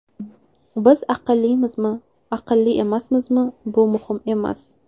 Biz aqllimizmi, aqlli emasmizmi bu muhim emas!